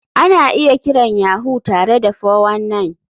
Ana iya kiran Yahoo tare da 419.